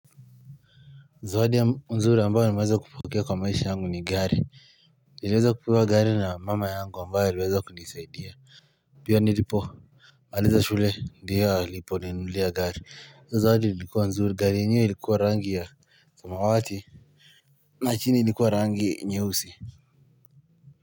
Zawadi ya nzuri ambayo nimeweza kupokea kwa maisha yangu ni gari iliweza kupewa gari na mama yangu ambayo iliweza kunisaidia pia nilipo aliza shule ndiyo alipo ninulia gari zawadi ilikuwa nzuri gari yenyewe ilikuwa rangi ya samawati na chini ilikuwa rangi nyeusi.